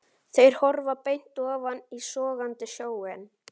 Þeir horfa beint ofan í sogandi sjóinn.